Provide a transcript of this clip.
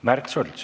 Märt Sults.